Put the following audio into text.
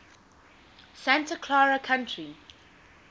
santa clara county